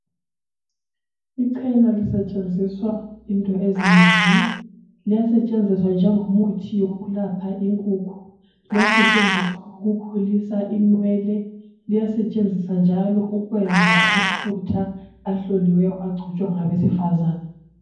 Ichena lisetshenziswa into zinengi liyasetshenziswa njengomuthi wokwelapha inkukhu liyasetshenziswa ukukhulisa inwele liyasetshenziswa njalo ukwenza amafutha ahloliweyo agcotshwa ngabesifazane